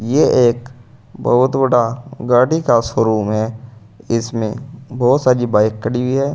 ये एक बहुत बड़ा गाड़ी का शोरूम है इसमें बहुत सारी बाइक खड़ी है।